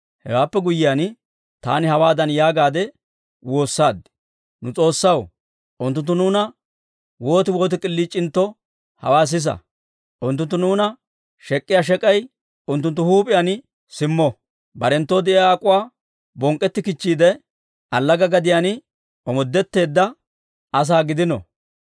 Hewaappe guyyiyaan, taani hawaadan yaagaadde woossaad; «Nu S'oossaw, unttunttu nuuna woot woot k'iliic'intto hawaa sisa! Unttunttu nuuna shek'k'iyaa shek'ay unttunttu huup'iyaan simmo. Barenttoo de'iyaa ak'uwaa bonk'k'etti kichchiide, allaga gadiyaan omoodetteedda asaa gidino.